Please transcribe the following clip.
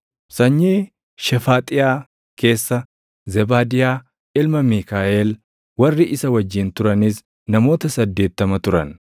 sanyii Shefaaxiyaa keessa Zebaadiyaa ilma Miikaaʼel; warri isa wajjin turanis namoota 80 turan;